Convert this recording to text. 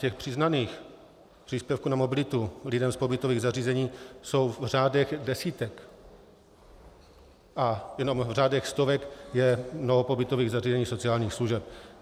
Těch přiznaných příspěvků na mobilitu lidem z pobytových zařízeních jsou v řádech desítek a jenom v řádech stovek je mnoho pobytových zařízení sociálních služeb.